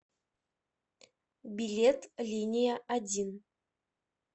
билет линия один